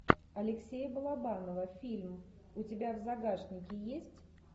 алексея балабанова фильм у тебя в загашнике есть